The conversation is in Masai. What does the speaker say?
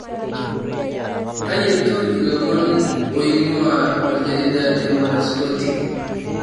teyietu ilomon aoin'gua oljarida le mwanaspoti